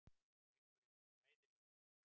Leikurinn var hræðilegur.